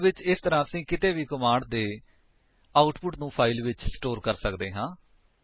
ਅਸਲ ਵਿੱਚ ਇਸ ਤਰ੍ਹਾਂ ਅਸੀਂ ਕਿਸੇ ਵੀ ਕਮਾਂਡ ਦੇ ਆਉਟਪੁਟ ਨੂੰ ਫਾਇਲ ਵਿੱਚ ਸਟੋਰ ਕਰ ਸਕਦੇ ਹਾਂ